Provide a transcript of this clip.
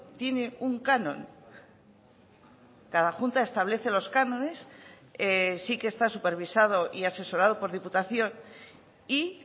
tiene un canon cada junta establece los cánones sí que está supervisado y asesorado por diputación y